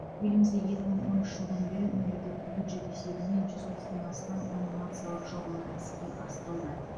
елімізде екі мың оныншы жылдан бері мемлекеттік бюджет есебінен жүз отыздан астам анимациялық жобалар іске асырылды